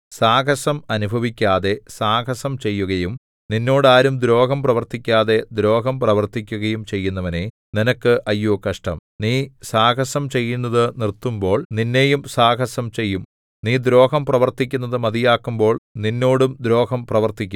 സാഹസം അനുഭവിക്കാതെ സാഹസം ചെയ്യുകയും നിന്നോട് ആരും ദ്രോഹം പ്രവർത്തിക്കാതെ ദ്രോഹം പ്രവർത്തിക്കുകയും ചെയ്യുന്നവനേ നിനക്ക് അയ്യോ കഷ്ടം നീ സാഹസം ചെയ്യുന്നതു നിർത്തുമ്പോൾ നിന്നെയും സാഹസം ചെയ്യും നീ ദ്രോഹം പ്രവർത്തിക്കുന്നതു മതിയാക്കുമ്പോൾ നിന്നോടും ദ്രോഹം പ്രവർത്തിക്കും